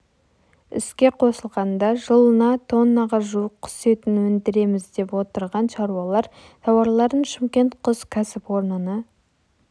іске қосылғанда жылына тоннаға жуық құс етін өндіреміз деп отырған шаруалар тауарларын шымкент құс кәсіпорнына